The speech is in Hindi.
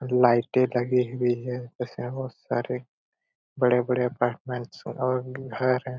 और लाइटे लगी हुई है इसमें बहुत सारे बड़े-बड़े अपार्टमेंट्स है और घर है।